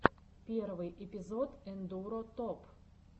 первый эпизод эндуро топ